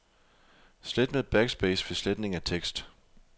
Slet med backspace ved sletning af tekst.